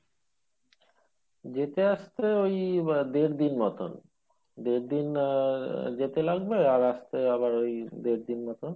যেতে আসতে ওই দেড়দিন মতো দেড়দিন যেতে লাগবে আর আসতে আবার ওই দেড়দিন মতো